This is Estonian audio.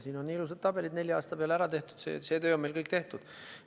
Siin on ilusad tabelid nelja aasta kohta, see töö on meil kõik tehtud.